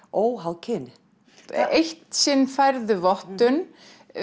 óháð kyni eitt sinn færðu vottun